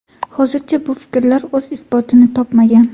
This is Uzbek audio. Hozircha bu fikrlar o‘z isbotini topmagan.